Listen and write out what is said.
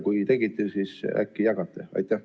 Kui tegite, siis äkki jagate meiega?